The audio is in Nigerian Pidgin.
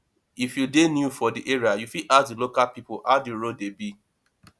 if you dey new for di area you fit ask di local pipo how di road dey be